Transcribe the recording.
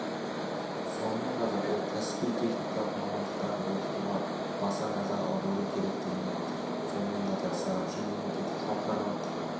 сонымен қатар ол кәсіби-техникалық мамандықтарды оқытуға баса назар аудару керектігін айтты сонымен қатар сарапшы мемлекет халықаралық